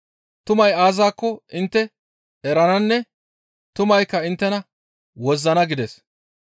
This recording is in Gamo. Tumay aazakko intte erananne tumaykka inttena wozzana» gides.